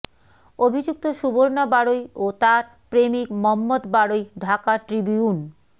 অভিযুক্ত সুবর্ণা বাড়ৈ ও তার প্রেমিক মম্মথ বাড়ৈ ঢাকা ট্রিবিউন